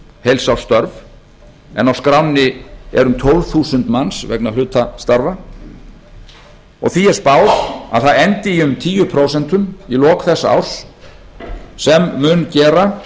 heilsársstörf en á skránni eru um tólf þúsund manns vegna hlutastarfa því er spáð að það endi í um tíu prósent í lok þessa árs sem mun gera